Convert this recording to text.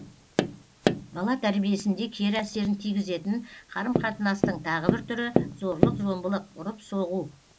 бала тәрбиесінде кері әсерін тигізетін қарым қатынастың тағы бір түрі зорлық зомбылық ұрып соғу